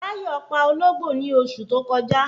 Táyọ̀ pa Ológbò ní osù tó kọjá